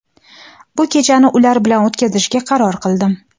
bu kechani ular bilan o‘tkazishga qaror qildim.